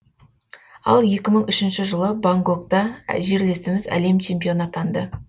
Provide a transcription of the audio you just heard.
ал екі мың үшінші жылы бангкокта жерлесіміз әлем чемпионы атанды